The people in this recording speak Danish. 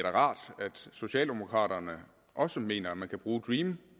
er rart at socialdemokraterne også mener at man kan bruge dream